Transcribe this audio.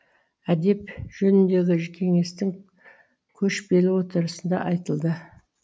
әдеп жөніндегі кеңестің көшпелі отырысында айтылды